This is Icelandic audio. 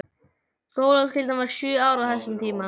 Skólaskyldan var sjö ár á þessum tíma.